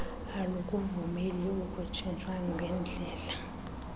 alukuvumeli ukutshintshwa kwendlela